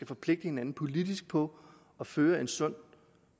forpligte hinanden politisk på at føre en sund